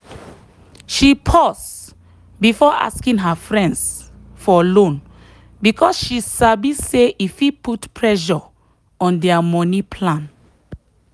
she pause before asking her friends for loan because she sabi say e fit put pressure on their money plan.